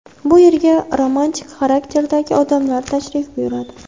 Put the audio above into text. Bu yerga romantik xarakterdagi odamlar tashrif buyuradi.